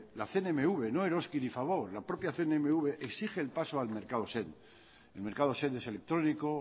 la cnmv no eroski ni fagor la propia cnmv exige el paso al mercado send el mercado send es electrónico